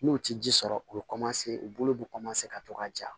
N'o tɛ ji sɔrɔ u bɛ u bolo bɛ ka to ka ja